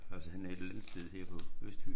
Altså han er et eller andet sted her på Østfyn